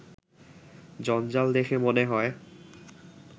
জঞ্জাল দেখে মনে হয়